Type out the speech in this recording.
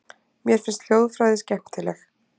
Mér finnst hljóðfræði skemmtileg.